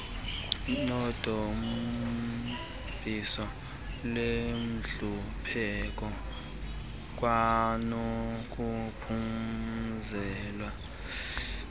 nodambiso lwentlupheko kwanokuphumeza